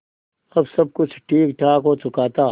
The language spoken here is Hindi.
अब सब कुछ ठीकठाक हो चुका था